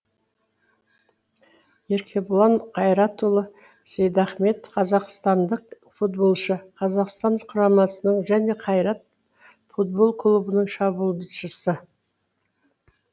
еркебұлан қайратұлы сейдахмет қазақстандық футболшы қазақстан құрамасының және қайрат футбол клубының шабуылшысы